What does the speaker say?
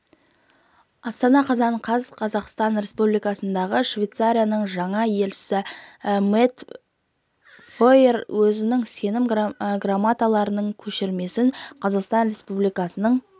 астана қазан қаз қазақстан республикасындағы швецияның жаңа елшісі мэтс фойер өзінің сенім грамоталарының көшірмесін қазақстан республикасының